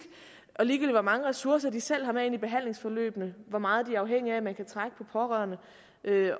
ligegyldigt hvor mange ressourcer vi selv har med i behandlingsforløbet hvor meget de er afhængige af at man kan trække på pårørende